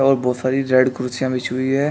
और बहुत सारी रेड कुर्सियां बिछी हुई हैं।